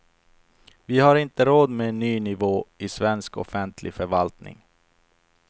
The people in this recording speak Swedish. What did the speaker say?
Vi har inte råd med en ny nivå i svensk offentlig förvaltning.